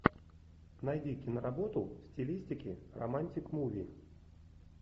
найди киноработу в стилистике романтик муви